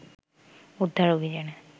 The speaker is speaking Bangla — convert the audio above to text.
উদ্ধার অভিযানে